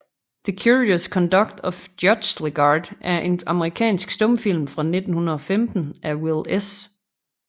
The Curious Conduct of Judge Legarde er en amerikansk stumfilm fra 1915 af Will S